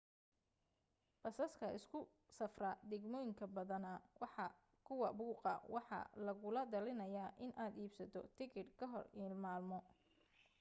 basaska isugu safra degmoyinka badana waa kuwa buuqa waxaa lagula telinaya in aad iibsato tikidh ka hor maalmo